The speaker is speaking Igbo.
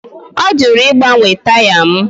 Ọ jụrụ ịgbanwe taya m